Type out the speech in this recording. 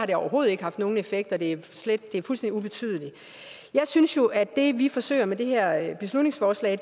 det overhovedet ikke haft nogen effekt og det er fuldstændig ubetydeligt jeg synes jo at det vi forsøger med det her beslutningsforslag i